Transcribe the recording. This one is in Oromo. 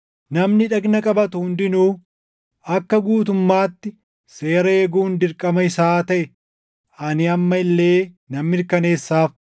Namni dhagna qabatu hundinuu akka guutummaatti seera eeguun dirqama isaa taʼe ani amma illee nan mirkaneessaaf.